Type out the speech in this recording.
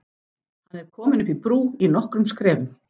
Hann er kominn upp í brú í nokkrum skrefum.